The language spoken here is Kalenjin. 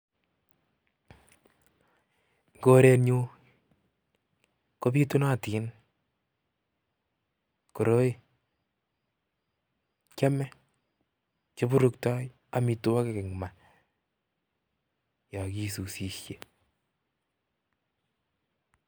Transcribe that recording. Korenyun kobitunotin koroi kiome kiburuktoi amitwokik en maa yokisusishe.